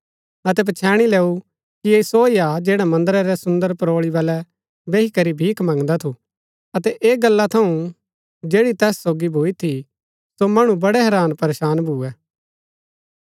पच्छैणी लैऊ कि ऐह सो हा जैडा मन्दरा रै सुन्दर परोळी बलै बैही करी भीख मंगदा थू अतै ऐह गल्ला थऊँ जैड़ी तैस सोगी भूई थी सो मणु बड़ै हैरान परेशान भूए